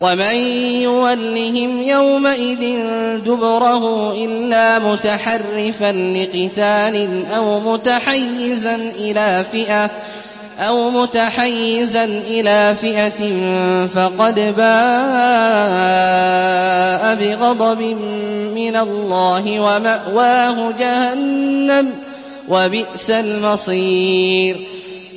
وَمَن يُوَلِّهِمْ يَوْمَئِذٍ دُبُرَهُ إِلَّا مُتَحَرِّفًا لِّقِتَالٍ أَوْ مُتَحَيِّزًا إِلَىٰ فِئَةٍ فَقَدْ بَاءَ بِغَضَبٍ مِّنَ اللَّهِ وَمَأْوَاهُ جَهَنَّمُ ۖ وَبِئْسَ الْمَصِيرُ